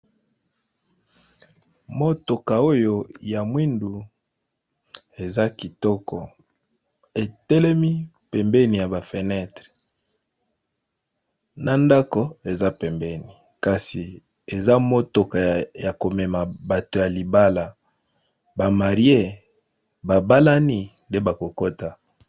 Motoka oyo ya mwindu eza kitoko, etelemi pembeni ya ba fenetre na ndako eza pembeni kasi eza motoka ya komema bato ya libala ba marie ba balani nde bako kota.